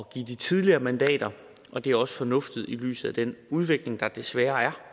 give de tidligere mandater og det er også fornuftigt i lyset af den udvikling der desværre er